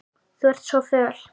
Þú ert svo föl.